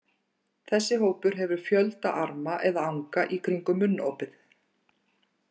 Þessi hópur hefur fjölda arma eða anga í kringum munnopið.